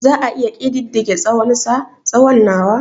Za a iya ƙididdige tsawonsa/ tsawon nawa?